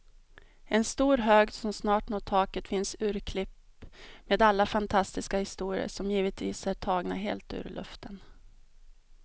I en stor hög som snart når taket finns urklipp med alla fantastiska historier, som givetvis är tagna helt ur luften.